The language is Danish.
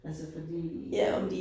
Altså fordi